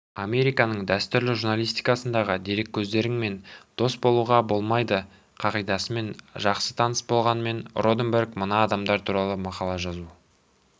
американың дәстүрлі журналистикасындағы дереккөздеріңмен дос болуға болмайдықағидасымен жақсы таныс болғанымен роденберг мына адамдар туралы мақала жазу